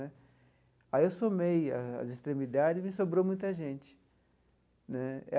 Aí eu somei as as extremidades e me sobrou muita gente né.